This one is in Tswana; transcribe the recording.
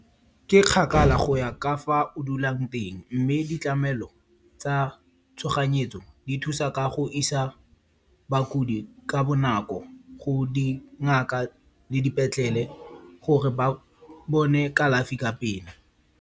Ke kgakala go ya ka fa o dulang teng. Mme ditlhamelo tsa tshoganyetso di thusa ka go isa bakodi ka bonako go dingaka le dipetlele gore ba bone kalafi ka pele.